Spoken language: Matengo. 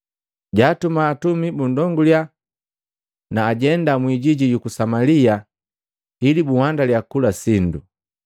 Jaatuma atumi bundonguliya na ajenda mwiijiji yuku Samalia ili bukuhandaliya kila sindu.